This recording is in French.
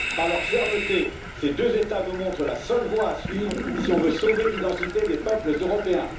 Par leur fermeté, ces deux États nous montrent la seule voie à suivre si l'on veut sauver l'identité des peuples européens.